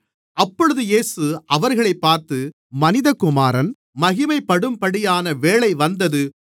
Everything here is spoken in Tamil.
அப்பொழுது இயேசு அவர்களைப் பார்த்து மனிதகுமாரன் மகிமைப்படும்படியான வேளை வந்தது